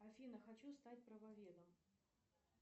афина хочу стать правоведом